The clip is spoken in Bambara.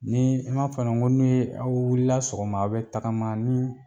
Ni i m'a f'a ɲɛna ŋo n'u ye aw wulila sɔgɔma a' bɛ tagama ni